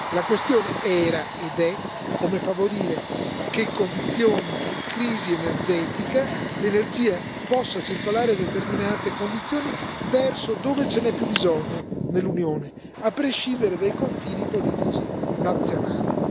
La questione era, ed è, come favorire in condizioni di crisi energetica la circolazione dell'energia a determinate condizioni verso dove ce n'è più bisogno nell'Unione, a prescindere dai confini politici nazionali.